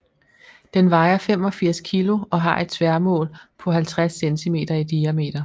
Den vejer 85 kg og har et tværmål på 50 cm i diameter